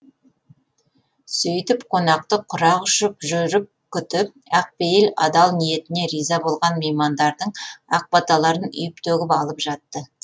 сөйтіп қонақты құрақ ұшып жүріп күтіп ақ пейіл адал ниетіне риза болған меймандардың ақ баталарын үйіп төгіп алып жатты